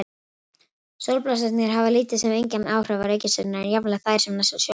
Sólblossarnir hafa lítil sem engin áhrif á reikistjörnurnar, jafnvel þær sem næstar sólinni eru.